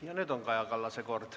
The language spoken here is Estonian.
Ja nüüd on Kaja Kallase kord.